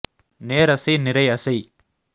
நேர் அசை நிரை அசை